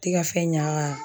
Ti ka fɛn ɲa